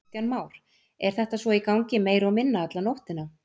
Kristján Már: Er þetta svo í gangi meira og minna alla nóttina?